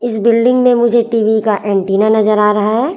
इस बिल्डिंग में मुझे टी_वी का एंटीना नजर आ रहा है।